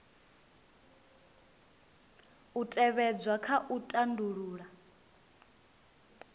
u tevhedzwa kha u tandulula